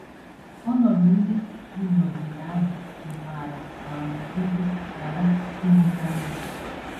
Ọnọdụ ndị dị n’ogige ahụ nwekwara um ike ghara ịdịcha mma.